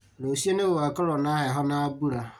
Rũciũ nĩgũgakorwo na heho na mbura